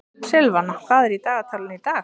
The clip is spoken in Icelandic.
Silvana, hvað er í dagatalinu í dag?